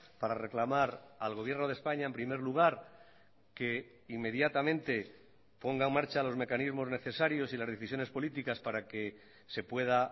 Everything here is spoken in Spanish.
para reclamar al gobierno de españa en primer lugar que inmediatamente ponga en marcha los mecanismos necesarios y las decisiones políticas para que se pueda